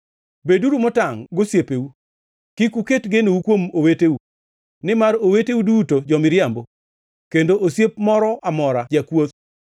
“Beduru motangʼ gosiepeu; kik uket genou kuom oweteu. Nimar oweteu duto jo-miriambo, kendo osiep moro amora jakwoth.